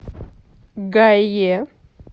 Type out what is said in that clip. гае